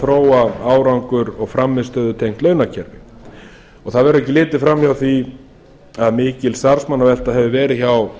þróa árangur og frammistöðutengt launakerfi það verður ekki litið framhjá því að mikil starfsmannavelta hefur verið hjá